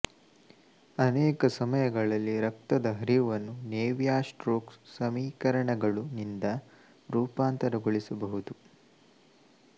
ಅನೇಕ ಸಮಯಗಳಲ್ಲಿ ರಕ್ತದ ಹರಿವನ್ನು ನೇವಿಯರ್ಸ್ಟೊಕ್ಸ್ ಸಮೀಕರಣಗಳು ನಿಂದ ರೂಪಾಂತರಗೊಳಿಸಬಹುದು